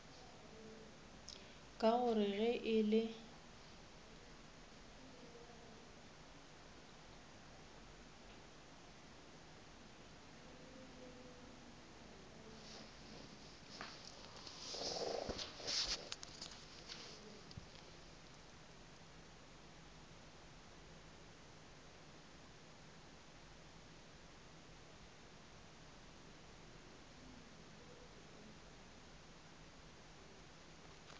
ka gore ge e le